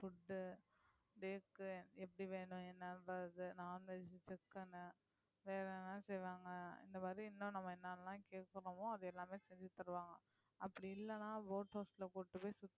food எப்படி வேணும் என்னன்றதை non-veg வேற என்ன செய்வாங்க இந்த மாதிரி இன்னும் நம்ம என்னெல்லாம் அது எல்லாமே செஞ்சு தருவாங்க அப்படி இல்லைன்னா boat house ல கூட்டிட்டு போய் சுத்தி